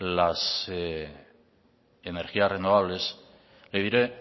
las energías renovables le diré